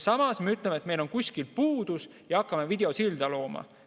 Samas me ütleme, et meil on kuskil puudus, ja hakkame videosilda looma.